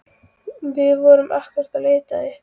Við vorum einmitt að leita að ykkur.